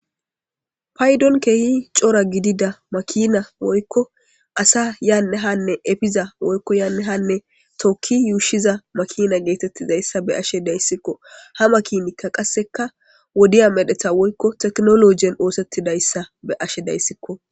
paydon keehi cora gidida makina woykko asa yaanne hanne efiza woykko yaanne hanne tokki yuushiza makina geetettizayssa be ashe dayssikko ha makinikka qasseka wodiya medheta woykko teknologien oosettidayssa be ashe dayssikko